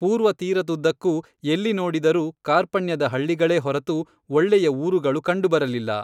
ಪೂರ್ವ ತೀರದುದ್ದಕ್ಕೂ ಎಲ್ಲಿ ನೋಡಿದರೂ ಕಾರ್ಪಣ್ಯದ ಹಳ್ಳಿಗಳೇ ಹೊರತು ಒಳ್ಳೆಯ ಊರುಗಳು ಕಂಡು ಬರಲಿಲ್ಲ